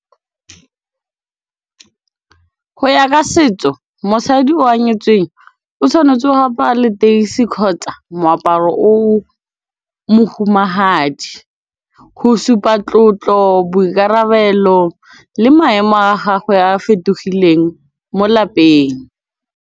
Go ya ka setso mosadi o a nyetsweng o tshwanetse go apara leteisi kgotsa moaparo o mohumagadi go supa tlotlo, boikarabelo le maemo a gagwe a fetogileng mo lapeng.